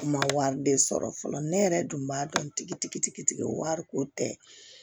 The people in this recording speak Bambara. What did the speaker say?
Ma wari de sɔrɔ fɔlɔ ne yɛrɛ dun b'a dɔn tigitigi wari ko tɛ